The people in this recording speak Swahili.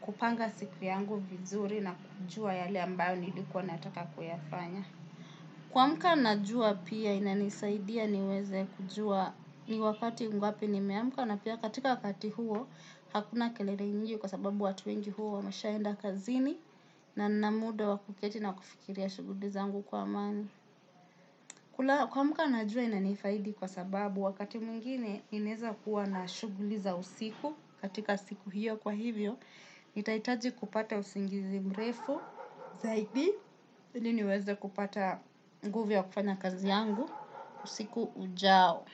kupanga siku yangu vizuri na kujua yale ambayo nilikuwa nataka kuyafanya. Kuamka najua pia inanisaidia niweze kujua ni wakati ngapi nimeamka na pia katika wakati huo hakuna kelele nyingi kwa sababu watu wengi huwa wameshaenda kazini na nina muda wa kuketi na kufikiria shughuli zangu kwa amani. Kuamka najua inanifaidi kwa sababu wakati mwingine inaeza kuwa na shughuli za usiku katika siku hiyo kwa hivyo, nitahitaji kupata usingizi mrefu zaidi ili niweze kupata nguv ya kufanya kazi yangu usiku ujao.